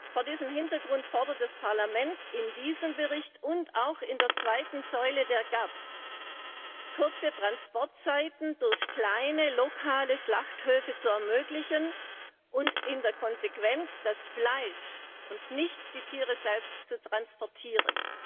Vor diesem Hintergrund fordert das Parlament in diesem Bericht und auch in der zweiten Säule der GAP, kurze Transportzeiten durch kleine lokale Schlachthöfe zu ermöglichen und in der Konsequenz das Fleisch und nicht die Tiere selbst zu transportieren.